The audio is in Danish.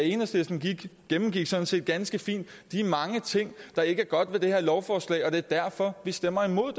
enhedslisten gennemgik sådan set ganske fint de mange ting der ikke er godt ved det her lovforslag og det er derfor vi stemmer imod